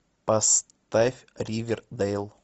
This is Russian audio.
поставь ривердейл